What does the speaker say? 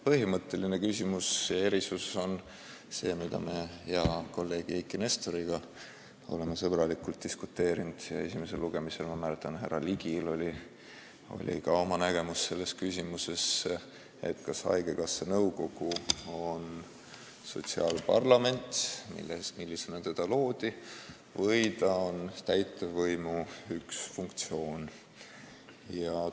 Põhimõtteline küsimus on see – oleme selle üle hea kolleegi Eiki Nestoriga sõbralikult diskuteerinud, ja esimesel lugemisel, ma mäletan, oli härra Ligil oma nägemus selles küsimuses –, kas haigekassa nõukogu on sotsiaalparlament, millisena see loodi, või on ta täitevvõimu üks töövahend.